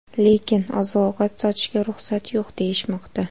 Lekin oziq-ovqat sotishga ruxsat yo‘q deyishmoqda.